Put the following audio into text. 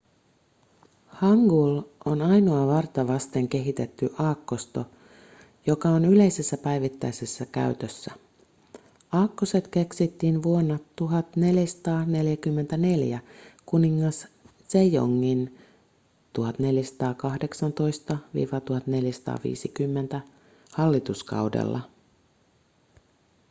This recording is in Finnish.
hangul on ainoa varta vasten kehitetty aakkosto joka on yleisessä päivittäisessä käytössä. aakkoset keksittiin vuonna 1444 kuningas sejongin 1418–1450 hallituskaudella